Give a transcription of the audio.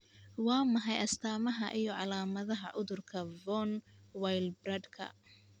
Waa maxay astamaha iyo calaamadaha cudurka Von Willebrandka?